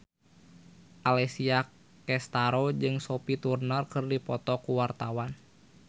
Alessia Cestaro jeung Sophie Turner keur dipoto ku wartawan